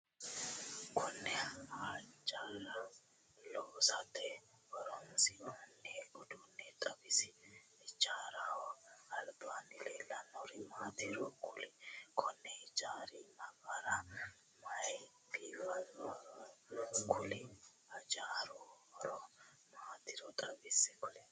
Konne hijaara loosate horoonsi'noonni uduune xawisi? Hijaaraho albaanni leelanori maatiro kuli? Konni hijaari nafara mayinni biifinsoonniro kuli? Hijaaru horo maatiro xawise kuli?